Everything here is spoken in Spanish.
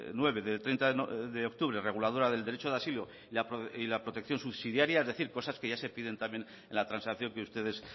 nueve de treinta de octubre reguladora del derecho de asilo y la protección subsidiaria es decir cosas que ya se piden también en la transacción que ustedes